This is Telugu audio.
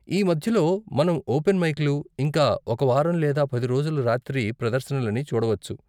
ఈ మధ్యలో, మనం ఓపెన్ మైక్లు, ఇంకా ఒక వారం లేదా పది రోజుల రాత్రి ప్రదర్శనలని చూడవచ్చు.